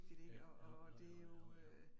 Ja, jo jo jo jo jo jo